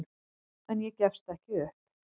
En ég gefst ekki upp.